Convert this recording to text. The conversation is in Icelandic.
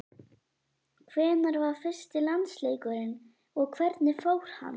Hvenær var fyrsti landsleikurinn og hvernig fór hann?